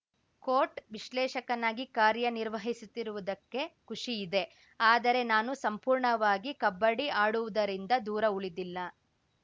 coat ವಿಶ್ಲೇಷಕನಾಗಿ ಕಾರ್ಯನಿರ್ವಹಿಸುತ್ತಿರುವುದಕ್ಕೆ ಖುಷಿ ಇದೆ ಆದರೆ ನಾನು ಸಂಪೂರ್ಣವಾಗಿ ಕಬಡ್ಡಿ ಆಡುವುದರಿಂದ ದೂರ ಉಳಿದಿಲ್ಲ